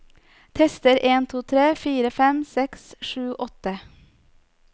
Tester en to tre fire fem seks sju åtte